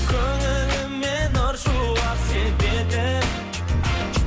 көңіліме нұр шуақ себетін